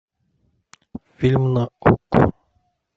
фильм на окко